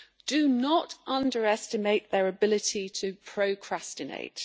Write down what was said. Do not underestimate their ability to procrastinate.